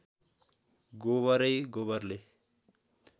गोबरै गोबरले